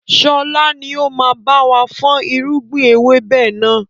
Sọlá ni ó máa báwa fọn irúgbìn ewébẹ̀ náà.